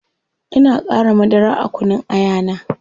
Ina qara madara a kunun aya na